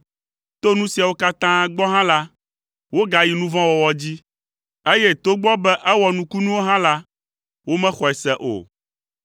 To nu siawo katã gbɔ hã la, wogayi nu vɔ̃ wɔwɔ dzi, eye togbɔ be ewɔ nukunuwo hã la, womexɔe se o.